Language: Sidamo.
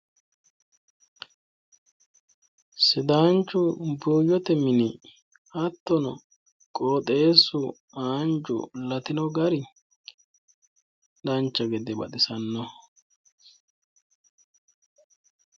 Sidaanchu buuyyote mini hattono qooxeessu haanju latino gari dancha gede baxisannoho